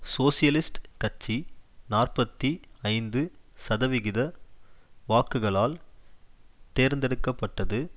socialist கட்சி நாற்பத்தி ஐந்து சதவிகித வாக்குகளால் தேர்ந்தெடுக்க பட்டது